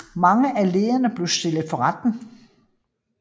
Mange af lederne blev stillet for retten